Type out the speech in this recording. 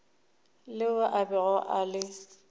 leo a bego a le